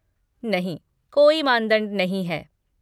नहीं, कोई मानदंड नहीं है।